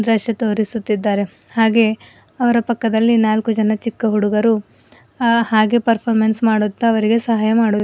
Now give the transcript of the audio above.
ರಶ ತೋರಿಸುತ್ತಿದ್ದಾರೆ ಹಾಗೆ ಅವರ ಪಕ್ಕದಲ್ಲಿ ನಾಲ್ಕು ಜನ ಚಿಕ್ಕ ಹುಡುಗರು ಆ ಹಾಗೆ ಪರಪಾರಮೆನ್ಸ್ ಮಾಡುತ್ತಾ ಅವರಿಗೆ ಸಹಾಯ ಮಾಡು--